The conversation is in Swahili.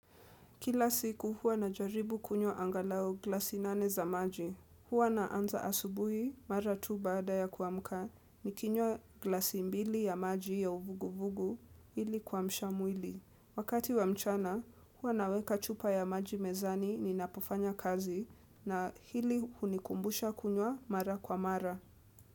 Kila siku hua najaribu kunywa angalau glasi nane za maji. Huwa naanza asubuhi mara tu baada ya kuamka nikinywa glasi mbili ya maji ya uvuguvugu ili kuamsha mwili. Wakati wa mchana hua naweka chupa ya maji mezani ninapofanya kazi na hili hunikumbusha kunywa mara kwa mara.